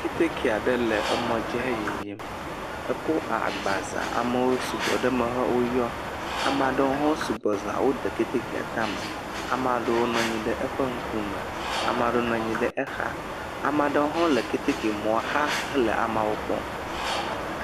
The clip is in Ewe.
Keteke aɖe le emɔdzi he yiyim ekɔ agba za ame wo sugbɔ ɖe eme woyɔ ame aɖewo sugbɔ za wode ketekea tame ame aɖewo nɔ anyi ɖe eƒe ŋkume, ame aɖewo le exa hele amewo kpɔm.